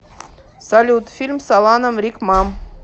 салют фильм с аланом рикмам